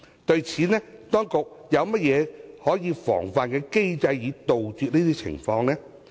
對此，當局有何防範機制，以杜絕有關情況呢？